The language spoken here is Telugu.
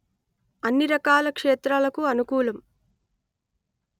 అన్ని రకాల క్షేత్రాలకు అనుకూలం